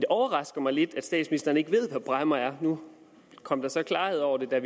overrasker mig lidt at statsministeren ikke ved hvad bræmmer er nu kom der så klarhed over det da